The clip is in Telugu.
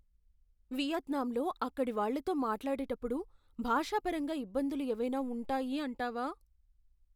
వియత్నాంలో అక్కడివాళ్ళతో మాట్లాడేటప్పుడు భాషపరంగా ఇబ్బందులు ఏవైనా ఉంటాయి అంటావా?